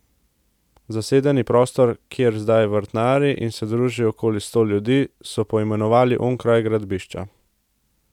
Zasedeni prostor, kjer zdaj vrtnari in se druži okoli sto ljudi, so poimenovali Onkraj gradbišča.